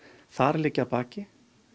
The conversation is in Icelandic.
þar liggja að baki